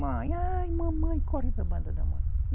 Mãe, ai mamãe, corre para a banda da mãe.